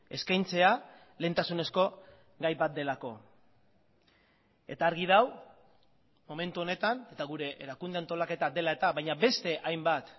eskaintzea lehentasunezko gai bat delako eta argi dago momentu honetan eta gure erakunde antolaketa dela eta baina beste hainbat